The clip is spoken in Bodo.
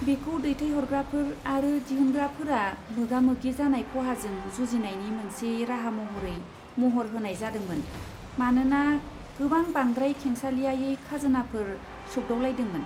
बेखौ दैथायहरग्राफोर आरो दिहुनग्राफोरा मोगा मोगि जानाय खहाजों जुजिनायनि मोनसे राहा महरै महर होनाय जादोंमोन, मानोना गोबां बांद्राय खेंसालियायै खाजोनाफोर सोग्दावलायदोंमोन।